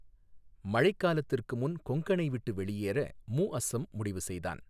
மழைக்காலத்திற்கு முன் கொங்கனை விட்டு வெளியேற முஅஸ்ஸம் முடிவு செய்தான்.